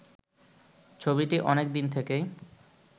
ছবিটি অনেকদিন থেকেই